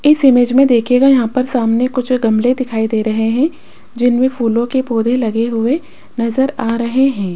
इस इमेज में देखियेगा यहां पर सामने कुछ गमले दिखाई दे रहे हैं जिनमें फूलों के पौधे लगे हुए नजर आ रहे हैं।